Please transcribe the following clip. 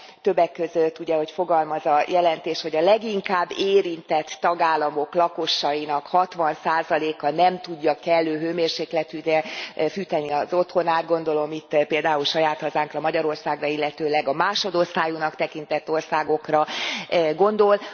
Többek között ugye úgy fogalmaz a jelentés, hogy a leginkább érintett tagállamok lakosainak 60 a nem tudja kellő hőmérsékletűre fűteni az otthonát. Gondolom itt például saját hazánkra, Magyarországra, illetőleg a másodosztályúnak tekintett országokra gondol.